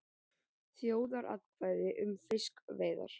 Þjóðaratkvæði um fiskveiðar